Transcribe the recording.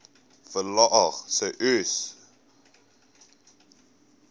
verlaag sê uys